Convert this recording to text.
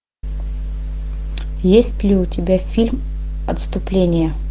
есть ли у тебя фильм отступление